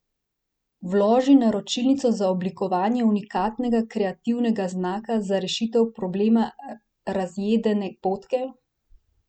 Vloži naročilnico za oblikovanje unikatnega kreativnega znaka za rešitev problema razjedene potke?